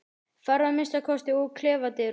Farðu að minnsta kosti úr klefadyrunum.